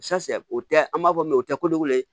o tɛ an b'a fɔ min ma o tɛ ko de wele